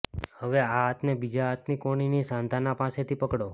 હવે આ હાથને બીજા હાથની કોણીની સાંધાના પાસેથી પકડો